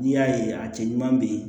N'i y'a ye a cɛ ɲuman bɛ yen